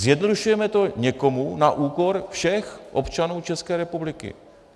Zjednodušujeme to někomu na úkor všech občanů České republiky.